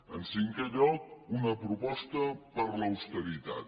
en cinquè lloc una proposta per l’austeritat